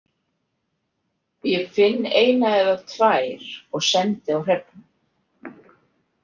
Ég finn eina eða tvær og sendi á Hrefnu.